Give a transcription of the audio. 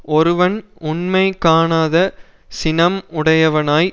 ஒருவன் உண்மை காணாத சினம் உடையவனாய்